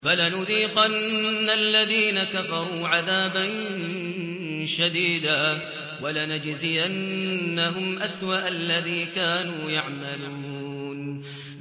فَلَنُذِيقَنَّ الَّذِينَ كَفَرُوا عَذَابًا شَدِيدًا وَلَنَجْزِيَنَّهُمْ أَسْوَأَ الَّذِي كَانُوا يَعْمَلُونَ